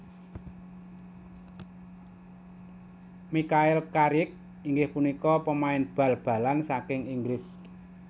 Michael Carrick inggih punika pemain bal balan saking Inggris